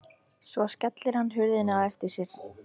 Svo skellir hann hurðinni á eftir sér.